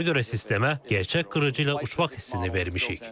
Ona görə sistemə gerçək qırıcı ilə uçmaq hissini vermişik.